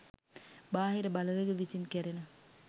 බාහිර බලවේග විසින් කැරෙන